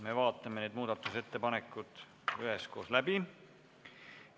Me vaatame need ettepanekud üheskoos läbi.